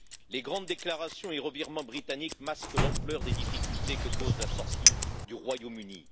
Les grandes déclarations et les revirements britanniques masquent l'ampleur des difficultés que cause la sortie du Royaume Uni.